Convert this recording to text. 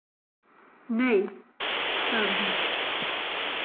Nei, sagði hún.